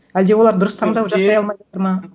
әлде олар дұрыс таңдау жасай ма